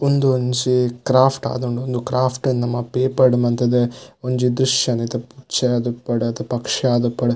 ಒಂದೊಂಜಿ craft ಆದುಂಡು ಒಂದು craft ನು ನಮ ಪೇಪರ್ಡು ಮಂತುದು ಒಂಜಿ ದ್ರುಶ್ಯನ್ ಪಕ್ಷ ಆದುಪ್ಪಡ್.